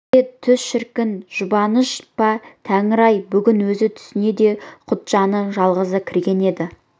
пәке түс шіркін жұбаныш па тәңір-ай бүгін өз түсіне де құтжаны жалғызы кірген еді